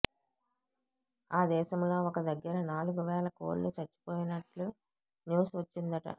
ఆ దేశంలో ఒక దగ్గర నాలుగు వేల కోళ్లు చచ్చిపోయినట్లు న్యూస్ వచ్చిందట